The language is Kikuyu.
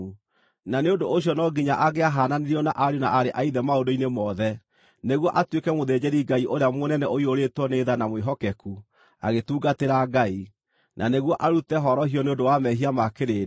Na nĩ ũndũ ũcio no nginya angĩahaananirio na ariũ na aarĩ a Ithe maũndũ-inĩ mothe, nĩguo atuĩke mũthĩnjĩri-Ngai ũrĩa mũnene ũiyũrĩtwo nĩ tha na mwĩhokeku agĩtungatĩra Ngai, na nĩguo arute horohio nĩ ũndũ wa mehia ma kĩrĩndĩ.